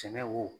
Sɛnɛ wo